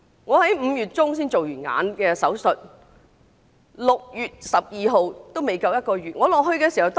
我在5月中曾做過眼部手術，到6月12日，還未足1個月。